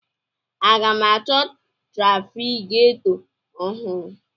Aga m achọ trafigetọ ọhụrụ?